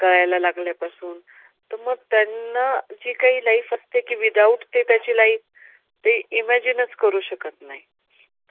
कळायला लागल्या पासून तर मग त्यांना जी कांही life आहे, without त्याची life ते imagine चं करू शकत नाहीत.